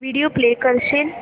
video play करशील